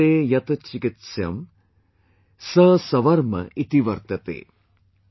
Vartate yat Chikitsaym Sa Savarma Iti Vartate